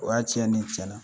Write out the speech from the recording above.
O y'a tiɲɛ ni ye tiɲɛna